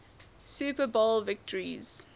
super bowl victories